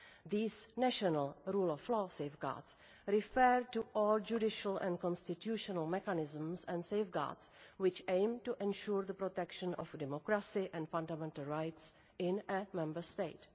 These national rule of law safeguards' refer to all judicial and constitutional mechanisms and safeguards which aim to ensure the protection of democracy and fundamental rights in a Member State.